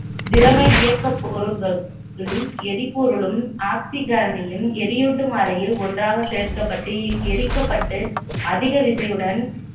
திரவ இயக்கப் பொருளும் எரிபொருளும் ஆக்சிகரனையும், எரியூட்டும் அறையில் ஒன்றாக சேர்க்கப்பட்டு எரிக்கப்பட்டு அதிக விசையுடன்